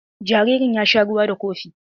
Jaririn ya sha ruwa da kofi.